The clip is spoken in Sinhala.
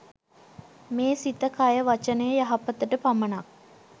මේ සිත, කය, වචනය, යහපතට පමණක්